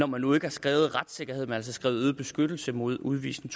man nu ikke har skrevet retssikkerhed men altså skrevet øget beskyttelse mod udvisning